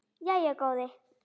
Jæja góði.